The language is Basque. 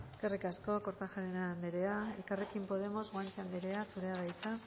eskerrik asko kortajarena anderea elkarrekin podemos guanche anderea zurea da hitza